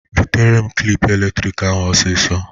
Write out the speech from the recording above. Butere m klịp eletrik ahụ osisọ!